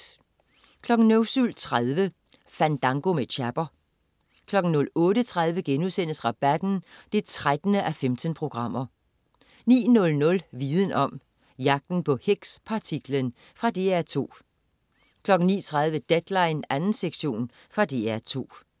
07.30 Fandango med Chapper 08.30 Rabatten 13:15* 09.00 Viden om: Jagten på Higgs-partiklen. Fra DR2 09.30 Deadline 2. sektion. Fra DR2